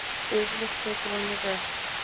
Yfirleitt tekur hún því vel.